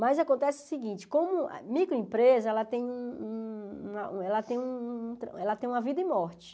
Mas acontece o seguinte, como microempresa, ela tem um um uma ela tem um um ela tem uma vida e morte.